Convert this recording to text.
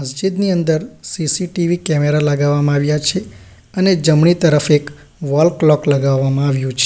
મસ્જિદની અંદર CCTV camera લગાવવામાં આવ્યા છે અને જમણી તરફ એક વોલ ક્લોક લગાવવામાં આવ્યું છે.